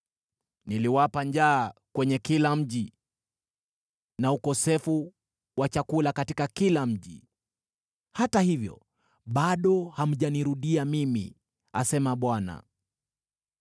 “Niliwapa njaa kwenye kila mji, na ukosefu wa chakula katika kila mji, hata hivyo bado hamjanirudia mimi,” asema Bwana .